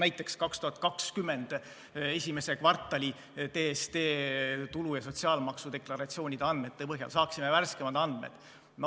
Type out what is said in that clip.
Näiteks 2020. aasta esimese kvartali tulu- ja sotsiaalmaksu deklaratsioonide andmete põhjal saaksime värskemaid andmeid.